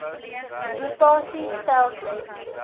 rota sie stelsels